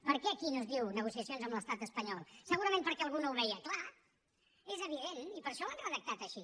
per què aquí no es diu negociacions amb l’estat espanyol segurament perquè algú no ho veia clar és evident i per això ho han redactat així